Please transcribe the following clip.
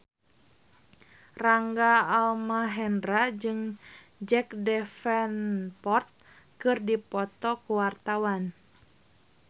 Rangga Almahendra jeung Jack Davenport keur dipoto ku wartawan